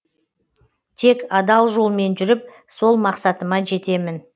тек адал жолмен жүріп сол мақсатыма жетемін